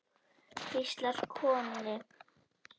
hvíslar Konni.